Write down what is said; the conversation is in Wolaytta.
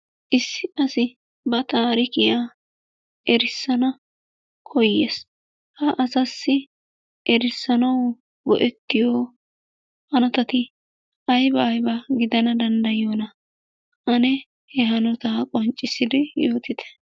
Issi asi ba taarikiya erissana koyyes. Ha asaassi erissanawu go'ettiyo hanotati ayibaa ayibaa gidanawu danddayiyonaa? Ane he hanotata qonccissidi yootite.